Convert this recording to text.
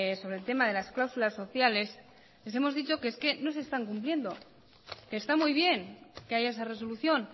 sobre el tema de las cláusulas sociales les hemos dicho que es que no se están cumpliendo que está muy bien que haya esa resolución